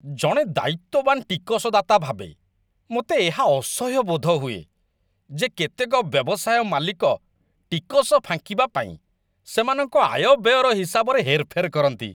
ଜଣେ ଦାୟିତ୍ୱବାନ ଟିକସଦାତା ଭାବେ, ମୋତେ ଏହା ଅସହ୍ୟ ବୋଧ ହୁଏ ଯେ କେତେକ ବ୍ୟବସାୟ ମାଲିକ ଟିକସ ଫାଙ୍କିବା ପାଇଁ ସେମାନଙ୍କ ଆୟବ୍ୟୟର ହିସାବରେ ହେରଫେର କରନ୍ତି।